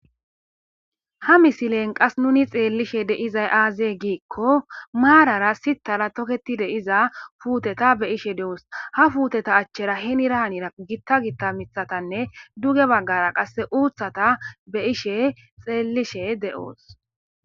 Ha misilen qas nuni xeellishe deizay aazee giikko maarara sittara toketide iza fuuteta be ishe de7oos ha fuuteta achchera hinira hanira gitta gitta mithatanne duge baggara qasse uuthata be ishe xeellishe de7oos.